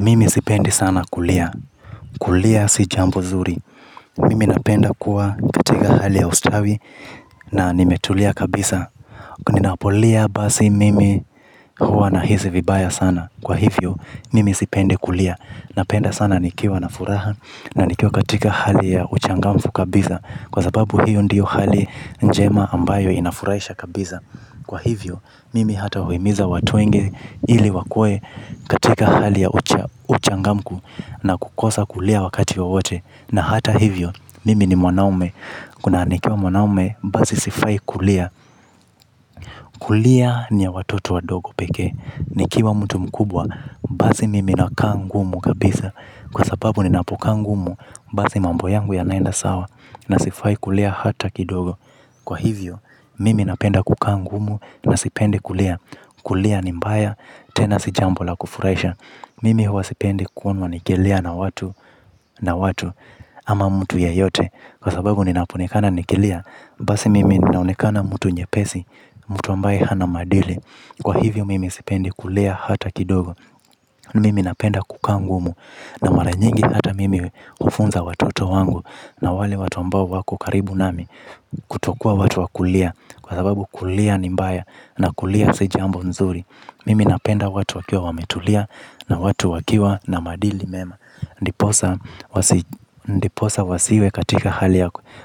Mimi sipendi sana kulia. Kulia si jambo zuri. Mimi napenda kuwa katika hali ya ustawi na nimetulia kabisa. Ninapolia basi mimi huwa nahisi vibaya sana. Kwa hivyo mimi sipendi kulia. Napenda sana nikiwa na furaha na nikiwa katika hali ya uchangamfu kabisa. Kwa sababu hiyo ndiyo hali njema ambayo inafurahisha kabisa. Kwa hivyo mimi hata huhimiza watu wengi ili wakuwe katika hali ya uchangamfu na kukosa kulia wakati wowote. Na hata hivyo, mimi ni mwanaume. Kuna nikiwa mwanaume, basi sifai kulia. Kulia ni ya watoto wadogo pekee. Nikiwa mtu mkubwa, basi mimi nakaa ngumu kabisa. Kwa sababu ninapokaa ngumu, basi mambo yangu yanaenda sawa na sifai kulia hata kidogo. Kwa hivyo, mimi napenda kukaa ngumu na sipendi kulia. Kulia ni mbaya tena si jambo la kufurahisha. Mimi huwa sipendi kuonwa nikilia na watu ama mtu yeyote kwa sababu ninapoonekana nikilia. Basi mimi ninaonekana mtu nyepesi, mtu ambaye hana maadili. Kwa hivyo mimi sipendi kulia hata kidogo mimi napenda kukaa ngumu na mara nyingi hata mimi hufunza watoto wangu na wale watu ambao wako karibu nami kutokuwa watu wa kulia kwa sababu kulia ni mbaya na kulia si jambo nzuri mimi napenda watu wakiwa wametulia na watu wakiwa na maadili mema ndiposa ndiposa wasiwe katika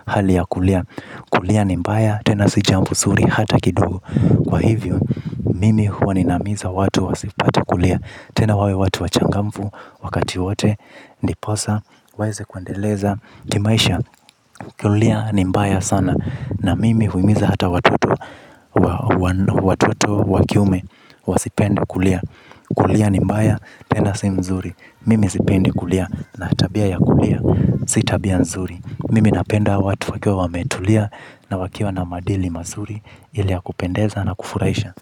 hali ya kulia. Kulia ni mbaya tena si jambo zuri hata kidogo kwa hivyo mimi huwa ninahimiza watu wasipate kulia tena wawe watu wachangamfu wakati wowote ndiposa waweze kuendeleza kimaisha. Kulia ni mbaya sana na mimi huhimiza hata watoto wa kiume wasipende kulia. Kulia ni mbaya, tena si mzuri. Mimi sipendi kulia, na tabia ya kulia si tabia nzuri. Mimi napenda watu wakiwa wametulia na wakiwa na maadili mazuri ile ya kupendeza na kufurahisha.